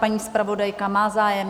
Paní zpravodajka má zájem?